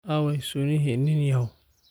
Aaway sunnihii nin yahow?